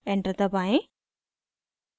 enter दबाएं